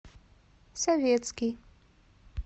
советский